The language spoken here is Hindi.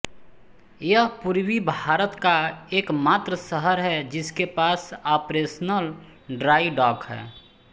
यह पूर्वी भारत का एकमात्र शहर है जिसके पास ऑपरेशनल ड्राई डॉक है